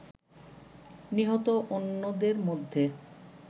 নিহত অন্যদের মধ্যে